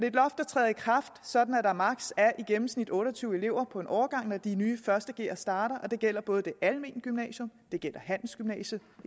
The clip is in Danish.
et loft der træder i kraft sådan at der i gennemsnit otte og tyve elever på en årgang når de nye første gere starter og det gælder både for det almene gymnasium det gælder handelsgymnasiet